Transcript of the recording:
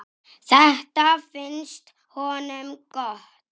Þetta finnst honum gott.